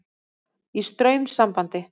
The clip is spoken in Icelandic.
Í straumsambandi.